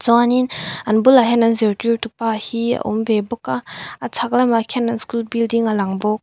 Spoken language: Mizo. chuanin an bulah hian an zirtirtupa hi a awm ve bawk a a chhak lamah khian an school building a lang bawk.